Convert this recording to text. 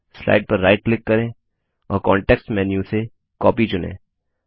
slide पर right click करें और कांटेक्स्ट मेन्यू से कॉपी चुनें